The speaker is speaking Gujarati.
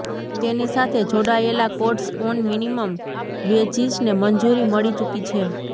તેની સાથે જોડાયેલા કોડ્સ ઑન મિનિમમ વેજીસને મંજૂરી મળી ચુકી છે